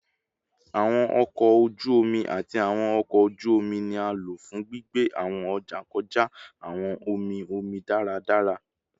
Awọn ọkọ oju omi ati awọn ọkọ oju omi ni a lo fun gbigbe awọn ọja kọja awọn omi omi daradara